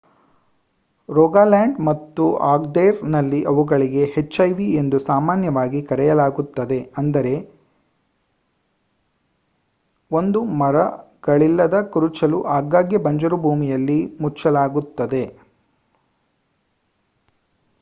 Rogaland ಮತ್ತು Agder ರಲ್ಲಿ ಅವುಗಳಿಗೆ ಹೆಚ್ಇಐ"ಎಂದು ಸಾಮಾನ್ಯವಾಗಿ ಕರೆಯಲಾಗುತ್ತದೆ ಅಂದರೆ ಒಂದು ಮರಗಳಿಲ್ಲದ ಕುರುಚಲು ಆಗಾಗ್ಗೆ ಬಂಜರು ಭೂಮಿಯಲ್ಲಿ ಮುಚ್ಚಲಾಗುತ್ತದೆ